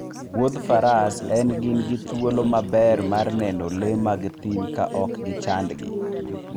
Wuoth faras en gin gi thuolo maber mar neno le mag thim ka ok gichandgi.